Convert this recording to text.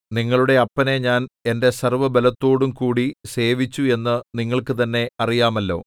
നിങ്ങളുടെ അപ്പനെ ഞാൻ എന്റെ സർവ്വബലത്തോടുംകൂടി സേവിച്ചു എന്നു നിങ്ങൾക്ക് തന്നെ അറിയാമല്ലോ